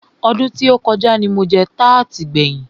Ọdún tí o kọjá ní mo jẹ tarti kẹ́yin.